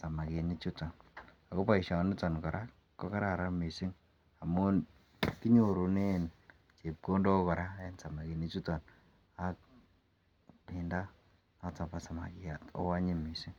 samaginik chutoon ago boishoniton koraa kogararan mising kinyorunen chepkondook koraa en samaginik chuton, ak kinda samakyaat ooh anyiny mising.